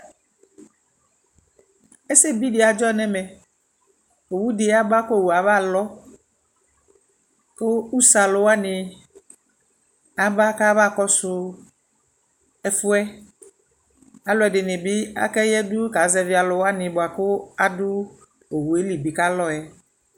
Ɛsɛbidi aɖʒɔ nɛmɛowudɛ aba kowiuabalɔɔ ku usee aluwani aba kabakɔsu ɛfuɛɛ aluɛdinibi ayadu kaka zɛvɛ aluwanibwaku aduu owueli bi kalɔɛ